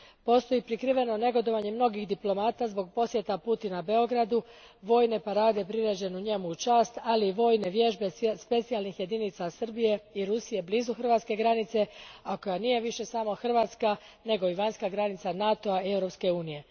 Postoji prikriveno negodovanje mnogih diplomata zbog posjeta Putina Beogradu, vojne parade priređene njemu u čast, ali i vojne vježbe specijalnih jedinica Srbije i Rusije blizu Hrvatske granice, a koja nije više samo hrvatska nego i vanjska granica NATO a i Europske unije.